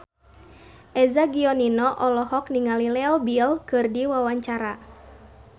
Eza Gionino olohok ningali Leo Bill keur diwawancara